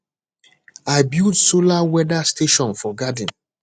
i build solar weather station for garden